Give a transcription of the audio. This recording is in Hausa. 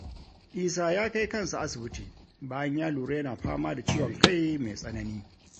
Isa ya kai kansa asibiti bayan ya lura yana fama da ciwon kai mai tsanani.